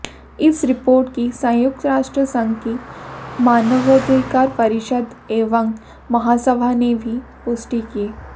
इस रिपोर्ट की संयुक्त राष्ट्र संघ की मानवाधिकार परिषद एवं महासभा ने भी पुष्टि की